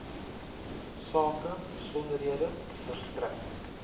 sake besonderhede verstrek